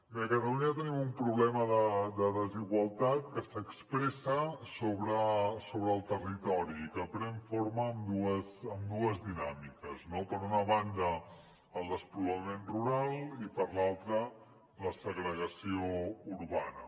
bé a catalunya tenim un problema de desigualtat que s’expressa sobre el territori i que pren forma amb dues dinàmiques no per una banda el despoblament rural i per l’altra la segregació urbana